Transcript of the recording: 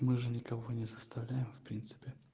мы же никого не заставляем в принципе